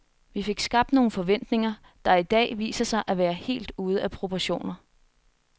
Vi fik skabt nogle forventninger, der i dag viser sig at være helt ude af proportioner.